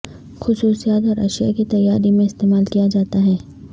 خصوصیات اور اشیاء کی تیاری میں استعمال کیا جاتا ہے